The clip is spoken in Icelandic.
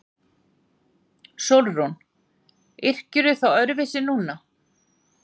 SÓLRÚN: Yrkirðu þá öðruvísi núna?